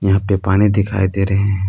यहा पे पानी दिखाई दे रहे है।